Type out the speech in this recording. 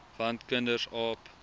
want kinders aap